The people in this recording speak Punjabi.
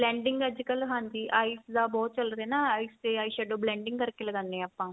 blending ਅੱਜਕਲ ਹਾਂਜੀ eyes ਦਾ ਬਹੁਤ ਚੱਲ ਰਿਹਾ ਨਾ eyes ਤੇ eyeshadow blending ਕ਼ਰ ਕੇ ਲਗਾਨੇ ਆ ਆਪਾਂ